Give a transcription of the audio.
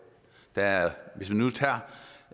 der er